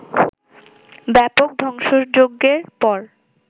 ব্যাপক ধ্বংসযজ্ঞের পর